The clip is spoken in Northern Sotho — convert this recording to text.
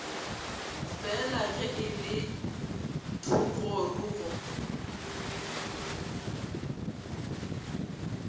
fela ge e le thogorogo